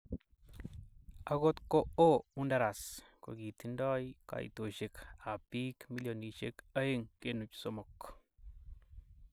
Akot ko oo Honduras, kokitindo kaitosiek ab bik milionisiek 2.3